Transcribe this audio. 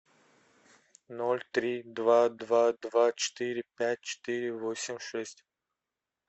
ноль три два два два четыре пять четыре восемь шесть